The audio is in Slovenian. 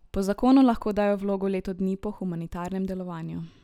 Po zakonu lahko dajo vlogo leto dni po humanitarnem delovanju.